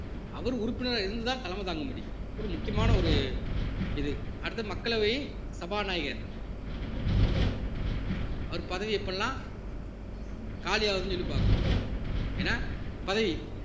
அவர் உறுப்பினரா இருந்து தான் தலைமை தாங்க முடியும் முக்கியமான ஒரு இது அடுத்து மக்களவை சபாநாயகர் அவர் பதவி எப்பெல்லாம் காலி ஆகுதுன்னு சொல்லி பார்க்கிறோம் என்ன பதவி